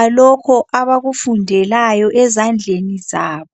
alokho abakufundelayo ezandleni zabo.